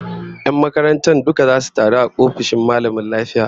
Yan makarantar duka zasu taru a ofishin mallamin lafiya